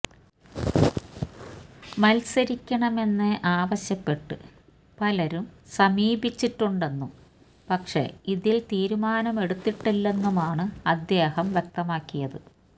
മത്സരിക്കണമെന്ന് ആവശ്യപ്പെട്ട് പലരും സമീപിച്ചിട്ടുണ്ടെന്നും പക്ഷെ ഇതില് തീരുമാനമെടുത്തിട്ടില്ലെന്നുമാണ് അദ്ദേഹം വ്യക്തമാക്കിയത്